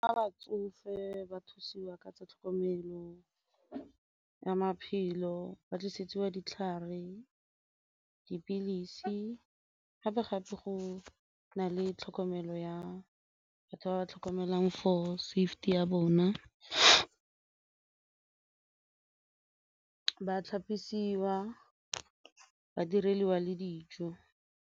A batsofe ba thusiwa ka tsa tlhokomelo ya maphelo ba tlisetsiwa ditlhare, dipilisi gape-gape go na le tlhokomelo ya batho ba ba tlhokomelang ya bona, ba tlhapisiwa, ba direlwa le dijo.